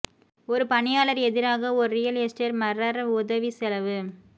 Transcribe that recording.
ஒரு பணியாளர் எதிராக ஒரு ரியல் எஸ்டேட் மர்ரர் உதவி செலவு